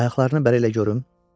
Ayaqlarını bəri elə görüm, dedi.